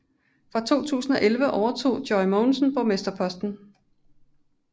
Fra 2011 overtog Joy Mogensen borgmesterposten